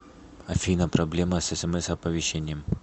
афина проблема с смс оповещением